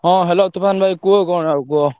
ହଁ hello ତୋଫାନ ଭାଇ କୁହ କଣ ଆଉ କୁହ।